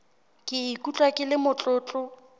ke ikutlwa ke le motlotlo